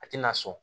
A tɛna sɔn